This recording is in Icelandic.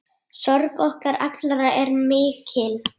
Sorg okkar allra er mikil.